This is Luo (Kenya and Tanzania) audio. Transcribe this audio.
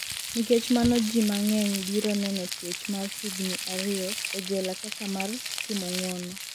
nikech mano ji mang'eny biro neno twech mar higni ariyo e jela kaka mar timo ng'uono